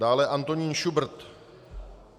Dále Antonín Šubrt.